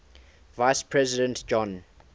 vice president john